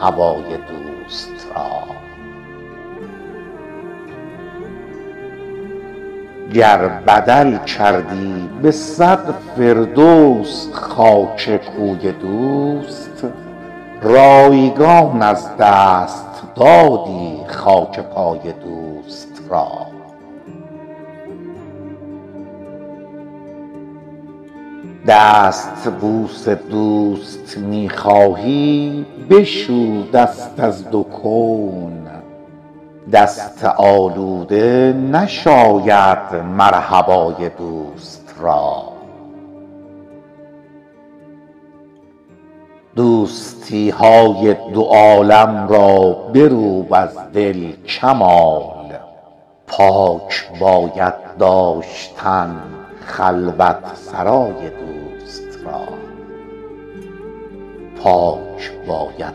هوای دوست را گر بدل کردی بصد فردوس خاک کوی دوست رایگان از دست دادی خاک پای دوست را دستبوس دوست می خواهی بشو دست از دو کون دست آلوده نشاید مرحبای دوست را دوستی های دو عالم را بروب از دل کمال پاک باید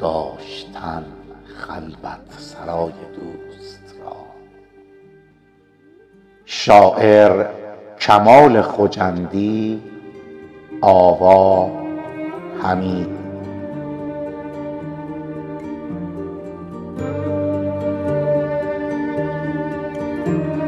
داشتن خلوت سرای دوست را